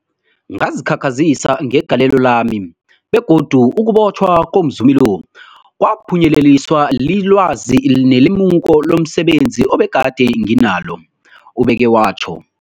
Ngazikhakhazisa ngegalelo lami, begodu ukubotjhwa komzumi lo kwaphunyeleliswa lilwazi nelemuko lomse benzi ebegade nginalo, ubeke watjho.